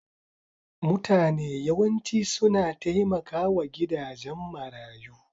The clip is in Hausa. Mutane yawanci suna taimakawa gidajen marayu.